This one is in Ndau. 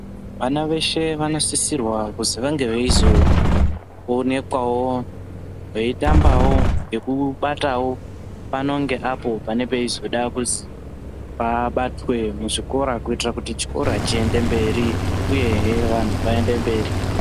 Vana veshe vanosisirwa kuzwi vange onekwawo veitamba nekubatawo pano ngeapo panenge peizoda kuzwi pabatwe muzvikora kuitire kuti chikora chiende mberi uyehe vantu vaende mberi.